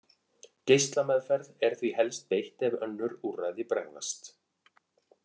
Geislameðferð er því helst beitt ef önnur úrræði bregðast.